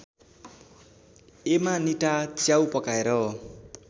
Amanita च्याउ पकाएर